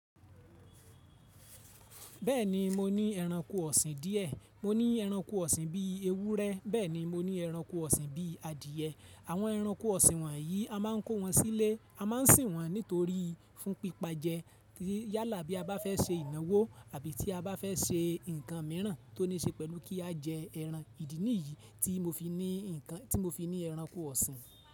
Bẹ́ẹ̀ni mo ní ẹranko ọ̀sìn díẹ̀. Mo ní ẹranko ọ̀sìn bí ewúrẹ́, bẹ́ẹ̀ ni mo ní ẹranko ọ̀sìn bí adìyẹ. Àwọn ẹranko ọ̀sìn wọ̀nyí a máa ń kó wọn sílé, a má ń sìn wọ́n nítorí fún pípa jẹ yálà bí a bá fẹ́ se ìnáwó àbí tí a bá fẹ́ se nǹkan mìíràn tó ní ṣe pẹ̀lú kí a jẹ ẹran. Ìdí nìyí tí mo fi ní ǹkan, tí mo fi ní ẹranko ọ̀sìn.